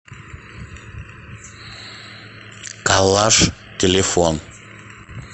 коллаж телефон